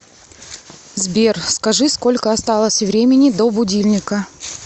сбер скажи сколько осталось времени до будильника